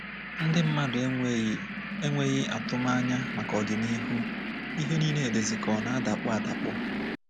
“Ndị mmadụ enweghị enweghị atụmanya maka ọdịnihu, ihe nile dizi ka ọ na-adakpọ adakpọ.